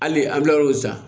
Hali an kila olu san